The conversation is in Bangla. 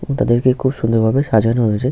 এবং তাদেরকে খুব সুন্দর ভাবে সাজানো হয়েছে।